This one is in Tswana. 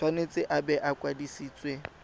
tshwanetse a bo a kwadisitswe